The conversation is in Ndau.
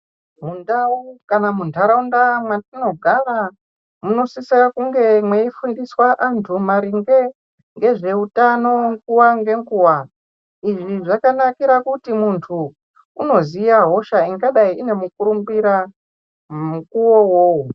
Mundau kana mundaraunda matinogara munosisa kunge meifundiswa muntu maringe ngezvehutano nguwa ngenguwa izvi zvakanakira pakuti muntu Anoziva hosha inonga ine mukurumbira mukuwo iwowo.